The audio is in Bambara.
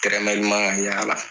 Tɛrɛmɛ ɲuman